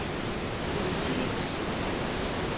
politiets